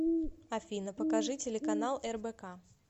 афина покажи телеканал рбк